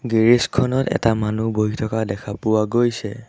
Garage খনত এটা মানুহ বহি থকা দেখা পোৱা গৈছে।